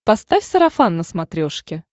поставь сарафан на смотрешке